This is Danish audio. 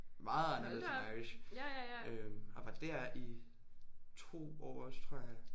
Meget anderledes end Irish øh og var der i 2 år også tror jeg